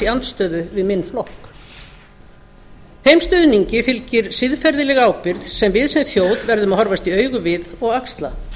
andstöðu við minn flokk þeim stuðningi fylgir siðferðileg ábyrgð sem við sem þjóð verðum að horfast í augu við og axla